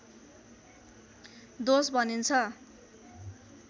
दोष भनिन्छ